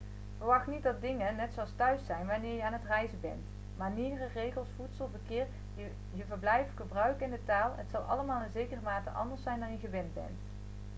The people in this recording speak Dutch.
verwacht niet dat dingen net zoals thuis' zijn wanneer je aan het reizen bent manieren regels voedsel verkeer je verblijf gebruiken en de taal het zal allemaal in zekere mate anders zijn dan je gewend bent